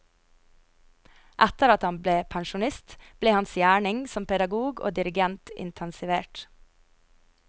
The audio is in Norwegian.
Etter at han ble pensjonist, ble hans gjerning som pedagog og dirigent intensivert.